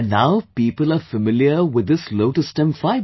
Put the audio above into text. and now people are familiar with this lotus stem fiber